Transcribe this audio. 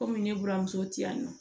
Komi ne buramuso ti yan nɔ